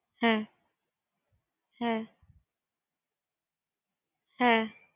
হ্যা কমলা লেবু, হ্যা হ্যা